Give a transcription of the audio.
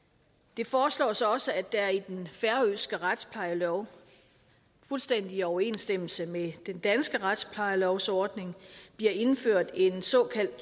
det foreslås også at der i den færøske retsplejelov fuldstændig i overensstemmelse med den danske retsplejelovs ordning bliver indført et såkaldt